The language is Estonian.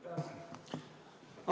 Aitäh!